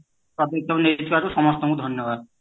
ନେଇଥିବାରୁ ସମସ୍ତଙ୍କୁ ଧନ୍ୟବାଦ